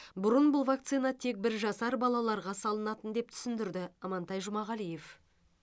бұрын бұл вакцина тек бір жасар балаларға салынатын деп түсіндірді амантай жұмағалиев